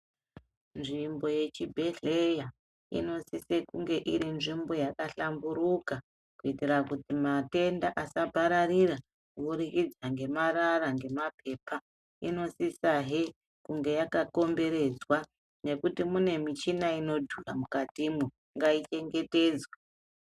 Nzvimbo yechibhedhleya inosise kunge iri nzvimbo yakahlamburuka kuitira kuti matenda asapararira kubudikidza ngemarara ngemapepa. Inosisahe kunge yakakomberedzwa nekuti mune michina inodhura mukatimwo, ngaichengetedzwe.